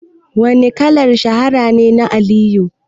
Wane kalar shahara ne na Ali Nuhu?